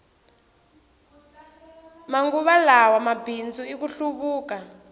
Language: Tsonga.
manguva lawa mabindzu i ku hluvuka